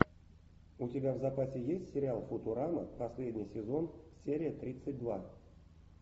у тебя в запасе есть сериал футурама последний сезон серия тридцать два